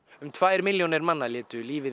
um tvo milljonir manna létu lífið í